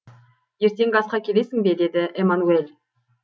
ертеңгі асқа келесің бе деді эмманюель